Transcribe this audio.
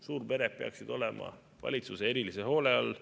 Suurpered peaksid olema valitsuse erilise hoole all.